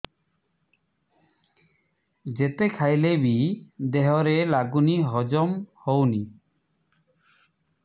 ଯେତେ ଖାଇଲେ ବି ଦେହରେ ଲାଗୁନି ହଜମ ହଉନି